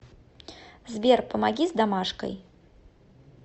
сбер помоги с домашкой